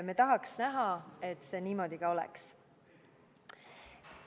Me tahaks näha, et see niimoodi ka oleks.